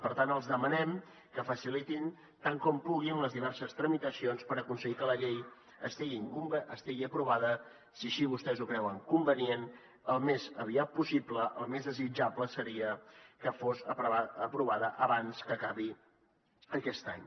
per tant els demanem que facilitin tant com puguin les diverses tramitacions per aconseguir que la llei estigui aprovada si així vostès ho creuen convenient al més aviat possible el més desitjable seria que fos aprovada abans que acabi aquest any